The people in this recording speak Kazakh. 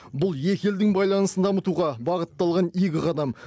бұл екі елдің байланысын дамытуға бағытталған игі қадам